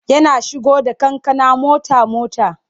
Yana shigo da kankana mota-mota.